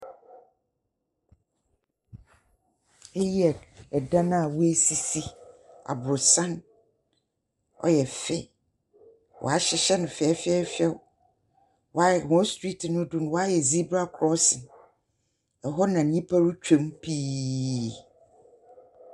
Eyi yɛ dan a woesisi. Aborosan, ɔyɛ fɛ y wɔahyehyɛ no fɛɛfɛɛfɛw. Wɔa wɔn street no do no wɔayɛ zebra crossing. Hɔ na nnipa retwam pii.